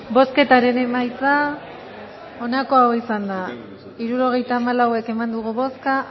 bozketaren emaitza onako izan da hirurogeita hamalau eman dugu bozka